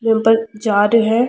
पर जा रे है।